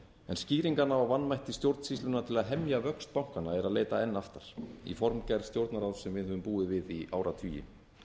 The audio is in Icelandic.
en skýringar á vanmætti stjórnsýslunnar til að hemja vöxt bankanna er að leita enn aftar í formgerð stjórnarráðs sem við höfum búið við í áratugi